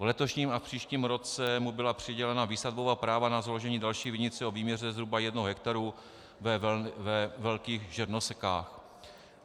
V letošním a příštím roce mu byla přidělena výsadbová práva na založení další vinice o výměře zhruba jednoho hektaru ve Velkých Žernosekách.